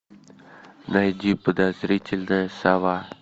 найди подозрительная сова